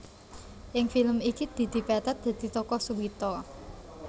Ing film iki Didi Petet dadi tokoh Suwito